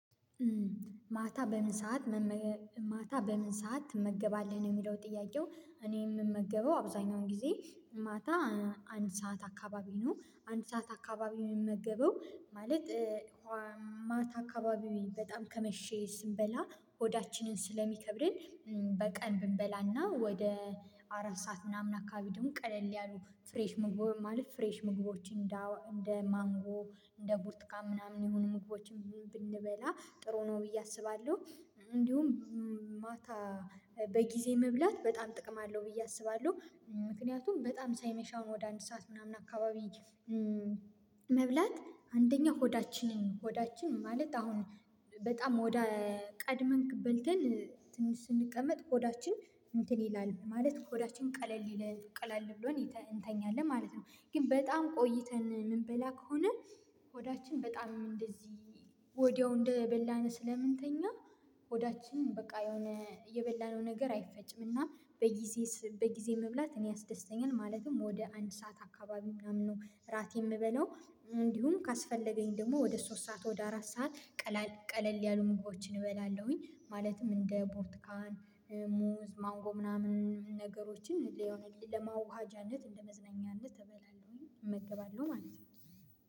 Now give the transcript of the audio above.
ማታ በምን ሰዓት ማታ በምን ሰዓት ትመገባለህ የሚለው ጥያቄው? እኔ የምመገበው አብዛኛውን ጊዜ ማታ አንድ ሰዓት አካባቢ ነው አንድ ሰዓት አካባቢ የምመገበው። ማለት ማታ አካባቢው በጣም ከመሸ ስንበላ ሆዳችንን ስለሚከብደን በቀን ብንበላና ወደ አራት ሰዓት ምናምን አካባቢ ደግሞ ቀለል ያሉ ፍሬሽ ምግቦ ማለት ፍሬሽ ምግቦችን እንደ እንደ ማንጎ እንደ ቡርትካ ምናምን ይሁን ምግቦችም ብንበላ ጥሩ ነው ብዬ አስባለሁ። እንዲሁም ማታ በጊዜ መብላት በጣም ጥቅም አለው ብዬ አስባለሁ ምክንያቱም በጣም ሳይመሽ አሁን ወደ አንድ ሰዓት ምናምን አካባቢ። መብላት አንደኛ ሆዳችንን ሆዳችን ማለት አሁን በጣም ወደ ቀድመን በልተን ስንቀመጥ ሆዳችን እንትን ይላል ማለት ሆዳችን ቀለል ይለን ቀላል ብሎ እንተኛለን ማለት ነው። ግን በጣም ቆይተን የምንበላ ከሆነ ሆዳችን በጣም እንደዚህ ወዲያው እንደበላን ስለምንተኛ ሆዳችን በቃ የሆነ የበላነው ነገር አይፈጭም እና በጊዜ በጊዜ መብላት እኔ አስደስተኛል። ማለትም ወደ አንድ ሰዓት አካባቢ ምናምን ነው ራቴን የምበለው። እንዲሁም ካስፈለገኝ ደግሞ ወደ ሶስት ሰዓት ወደ አራት ሰዓት። ቀለል ያሉ ምግቦችን እበላለሁኝ ማለትም እንደ ቦርትካን ሙዝ ማንጎ ምናምን ነገሮችን ለማዋሃጃነት እንደመዝናኛነት እበላለሁኝ እመገባለሁ ማለት ነው